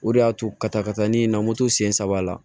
O de y'a to ka taa ka taa ne ye na moto sen saba la